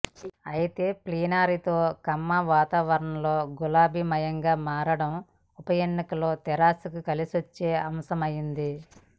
అయితే ప్లీనరీతో ఖమ్మంలో వాతావరణం గులాబీమయంగా మారడం ఉప ఎన్నికల్లో తెరాసకు కలిసొచ్చే అంశమైంది